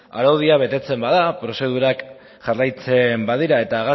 araudia betetzen bada prozedurak jarraitzen badira eta